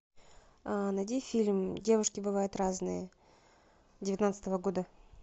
найди фильм девушки бывают разные девятнадцатого года